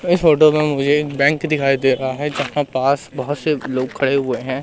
इस फोटो में मुझे बैंक दिखाई दे रहा है जहां पास बहुत से लोग खड़े हुए हैं।